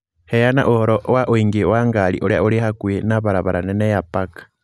Heana ũhoro wa ũingĩ wa ngari ũria ũrĩ hakuhĩ na barabara nene ya park